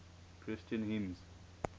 christian hymns